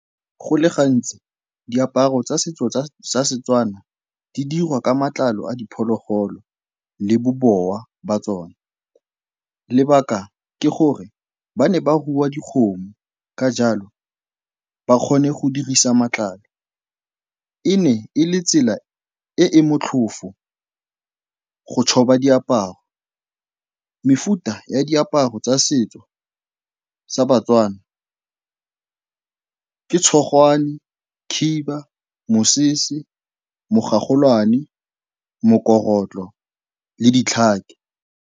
Go le gantsi diaparo tsa setso sa setswana di dirwa ka matlalo a diphologolo le bobowa ba tsone. Lebaka ke gore ba ne ba rua dikgomo ka jalo ba kgone go dirisa matlalo. E ne e le tsela e e motlhofo go diaparo. Mefuta ya diaparo tsa setso sa batswana ke tshogwane, khiba, mosese, mogolwane, mokorotlo le ditlhako.